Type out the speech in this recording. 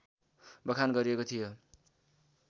बखान गरिएको थियो